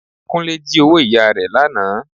Kúnlé jí owó ìyá rẹ lánàá